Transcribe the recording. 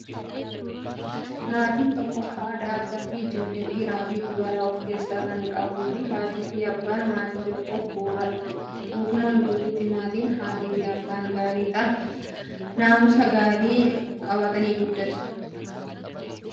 Maatiin tokko haadha, abbaa fi ijoollee dhiiraa fi dubaraa of keessaa kan qabuu fi haatii fi abbaan maatii tokkoof bu'uuradha. Guutumaan guutuutti maatiin haatii fi abbaan gaarii ta'an naamusa gaariin guddatu.